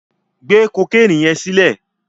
Gbé kokéènì yẹn sílẹ̀.